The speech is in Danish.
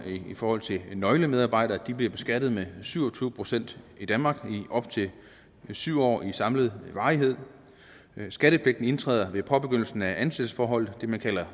i forhold til nøglemedarbejdere at de bliver beskattet med syv og tyve procent i danmark i op til syv år i samlet varighed skattepligten indtræder ved påbegyndelsen af ansættelsesforholdet det man kalder